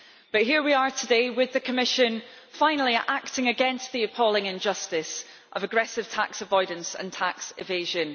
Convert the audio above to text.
But here we are today, with the Commission finally acting against the appalling injustice of aggressive tax avoidance and tax evasion.